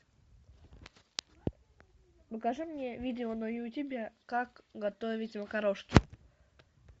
покажи мне видео на ютубе как готовить макарошки